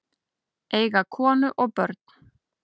Eiga konu og börn?